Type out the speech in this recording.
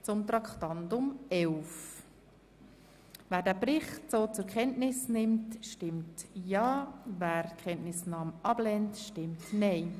Wer den Bericht zur Kenntnis nimmt, stimmt Ja, wer die Kenntnisnahme ablehnt, stimmt Nein.